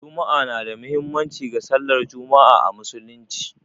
Juma'a na da muhimmanci ga sallar Juma'a a Musulunci.